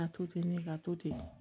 Ka to ten ne ka to ten